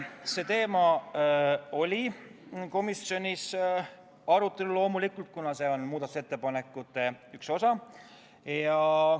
See teema oli komisjonis loomulikult arutelul, kuna see on muudatusettepanekute üks osa.